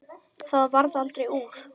Það varð aldrei úr.